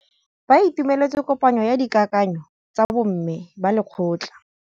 Ba itumeletse kôpanyo ya dikakanyô tsa bo mme ba lekgotla.